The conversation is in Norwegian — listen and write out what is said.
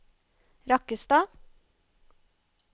Rakkestad